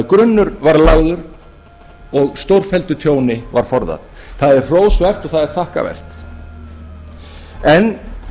að grunnur var lagður og stórfelldu tjóni var forðað það er hrósvert og það er þakkarvert en